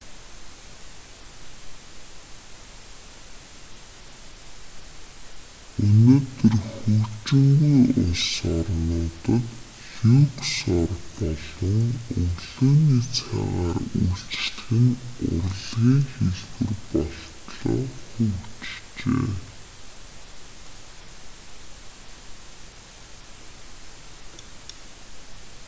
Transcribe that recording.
өнөөдөр хөгжингүй улс орнуудад люкс ор болон өглөөний цайгаар үйлчлэх нь урлагийн хэлбэр болтлоо хөгжжээ